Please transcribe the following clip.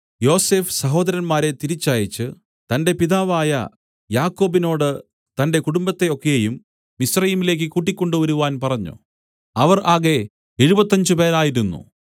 യോസഫ് സഹോദരന്മാരെ തിരിച്ചയച്ച് തന്റെ പിതാവായ യാക്കോബിനോട് തന്റെ കുടുംബത്തെ ഒക്കെയും മിസ്രയീമിലേക്ക് കൂട്ടിക്കൊണ്ടുവരുവാൻ പറഞ്ഞു അവർ ആകെ എഴുപത്തഞ്ചുപേരായിരുന്നു